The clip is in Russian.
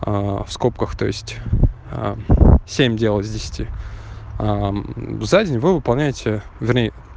в скобках то есть а семь сделал из десяти за день вы выполняете вернее